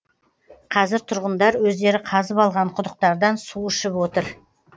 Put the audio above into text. қазір тұрғындар өздері қазып алған құдықтардан су ішіп отыр